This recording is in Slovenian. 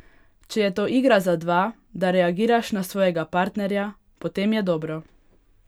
Če je to igra za dva, da reagiraš na svojega partnerja, potem je dobro.